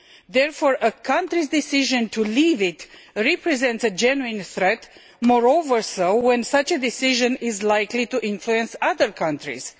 Therefore, a country's decision to leave it represents a genuine threat, the more so when such a decision is likely to influence other countries.